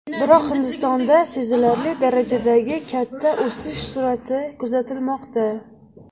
Biroq Hindistonda sezilarli darajadagi katta o‘sish sur’ati kuzatilmoqda.